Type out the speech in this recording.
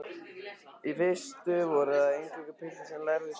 Í fyrstu voru það eingöngu piltar sem lærðu sund.